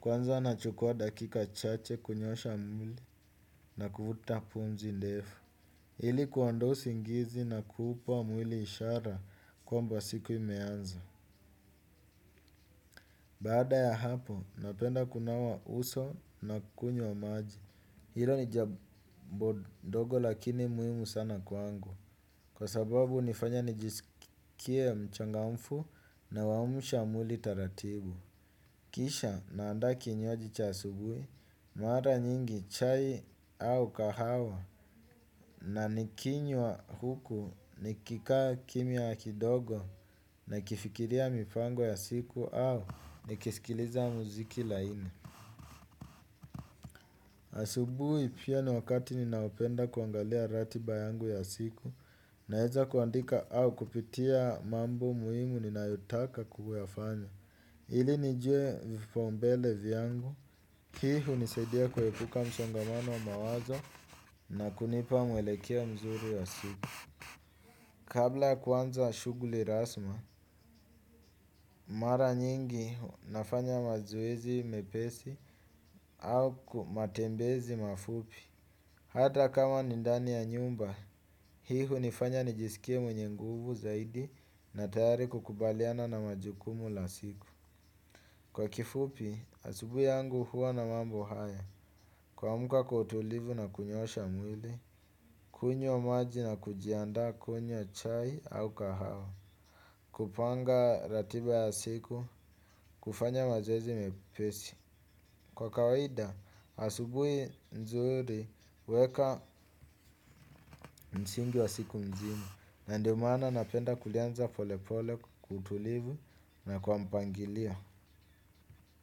kwanza nachukua dakika chache kunyoosha mwili na kuvuta pumzi ndefu. Ili kuondoa usingizi na kuupa mwili ishara kwamba siku imeanza. Baada ya hapo, napenda kunawa uso na kunywa maji. Hilo ni jambo dogo lakini muhimu sana kwangu. Kwa sababu nifanya nijisikie mchangamfu nauamusha mwili taratibu. Kisha naanda kinywaji cha asubui, mara nyingi chai au kahawa na nikinywa huku nikika kimya kidogo nakifikiria mipango ya siku au nikisikiliza muziki laini. Asubuhi pia ni wakati ninaopenda kuangalia ratiba yangu ya siku naeza kuandika au kupitia mambo muhimu ninautaka kuyafanya. Ili nijue vipaombele vyangu, hii hunisedia kuhepuka mshongamano mawazo na kunipa mwelekeo mzuri wa siku. Kabla kuanza shughuli rasma, mara nyingi nafanya mazoezi mepesi au kumatembezi mafupi. Hata kama ni ndani ya nyumba, hii hunifanya nijisikie mwenye nguvu zaidi na tayari kukubaliana na majukumu la siku. Kwa kifupi, asubui yangu huwa na mambo haya, kuamka kwa utulivu na kunyosha mwili, kunywa maji na kujianda kunywa chai au kahawa, kupanga ratiba ya siku, kufanya mazoezi mepesi. Kwa kawaida, asubui nzuri uweka msingi wa siku mzima, na ndio maana napenda kulianza pole pole kwa kutulivu na kwa mpangilio.